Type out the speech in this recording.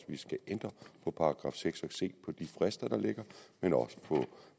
vi skal ændre på § seks og se på de frister der ligger men også på